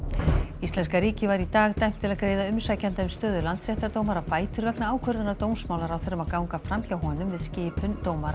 íslenska ríkið var í dag dæmt til að greiða umsækjanda um stöðu landsréttardómara bætur vegna ákvörðunar dómsmálaráðherra um að ganga fram hjá honum við skipun dómara í